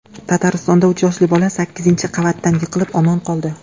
Tataristonda uch yoshli bola sakkizinchi qavatdan yiqilib, omon qoldi.